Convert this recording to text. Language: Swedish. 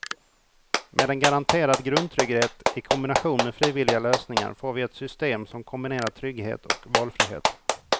Med en garanterad grundtrygghet i kombination med frivilliga lösningar får vi ett system som kombinerar trygghet och valfrihet.